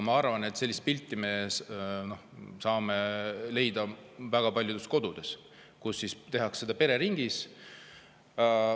Ma arvan, et sellist pilti me saame leida väga paljudes kodudes, kus pereringis.